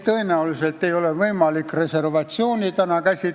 Neid ei ole võimalik sõnastada reservatsioonideks.